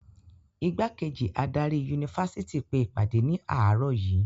Ìgbákejì adarí yunifásitì pe ìpàdé ní àárọ̀ yìí.